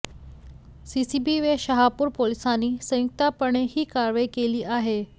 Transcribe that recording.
CCB व शहापूर पोलिसांनी संयुक्तपणे ही कारवाई केली आहे